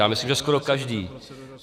Já myslím, že skoro každý.